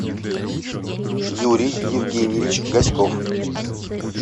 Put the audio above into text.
юрий евгеньевич гаськов